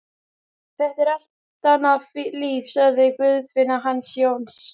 Þetta er allt annað líf, sagði Guðfinna hans Jóns.